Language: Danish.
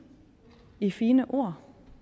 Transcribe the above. de fine ord